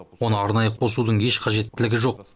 оны арнайы қосудың еш қажеттілігі жоқ